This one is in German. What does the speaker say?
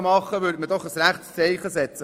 So könnte man doch ein Zeichen setzen.